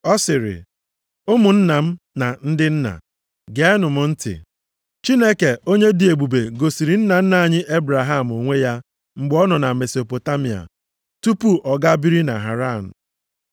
Ọ sịrị, “Ụmụnna m na ndị nna, geenụ m ntị. Chineke onye dị ebube gosiri nna nna anyị Ebraham onwe ya mgbe ọ nọ na Mesopotamịa, tupu ọ gaa biri na Haran.